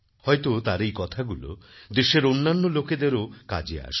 হয়তো তার এই কথাগুলো দেশের অন্যান্য লোকেদেরও কাজে আসবে